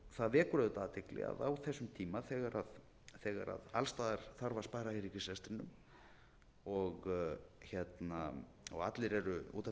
vekur auðvitað athygli að á þessum tíma þegar alls staðar þarf að spara í ríkisrekstrinum og allir eru út af fyrir sig